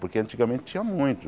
Porque antigamente tinha muito.